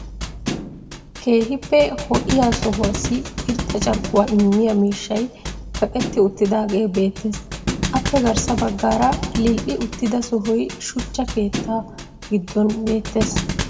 Keehippe ho'iya sohuwaassi irxxa carkkuwa immiya miishshay kaqetti uttidaagee beetees. appe garssa bagaara lil'i uttida sohoy shuchcha keettaa giddon beetees.